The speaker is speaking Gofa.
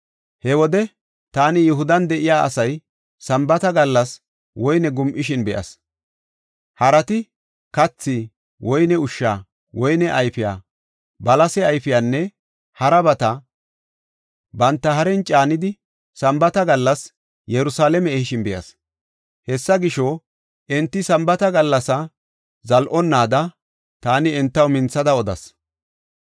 He wode taani Yihudan de7iya asay Sambaata gallas woyne gum7ishin be7as; harati kathi, woyne ushsha, woyne ayfiya, balase ayfiyanne harabata banta haren caanidi, Sambaata gallas Yerusalaame ehishin be7as. Hessa gisho, enti Sambaata gallasa zal7onaada taani entaw minthada odas.